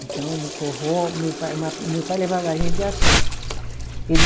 Então, no forró, meu pai ma, meu pai levava a gente assim. Ele